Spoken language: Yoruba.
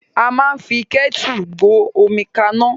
A máa ń fi kẹ́tu gbé omi ka iná.